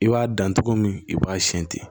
I b'a dan togo min i b'a siyɛn ten